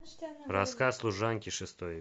рассказ служанки шестой